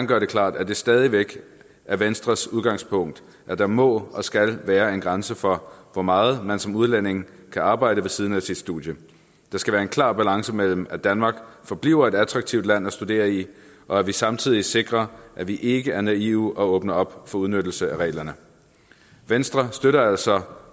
gøre det klart at det stadig væk er venstres udgangspunkt at der må og skal være en grænse for hvor meget man som udlænding kan arbejde ved siden af sit studie der skal være en klar balance mellem at danmark forbliver et attraktivt land at studere i og at vi samtidig sikrer at vi ikke er naive og åbner for udnyttelse af reglerne venstre støtter altså